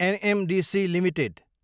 NMDC Ltd